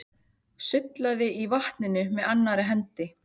Sullaði í vatninu með annarri hendi.